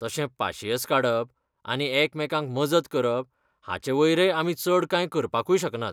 तशें पासिंयेस काडप आनी एकामेकांक मजत करप हाचेवयरय आमी चड कांय करपाकूय शकनात.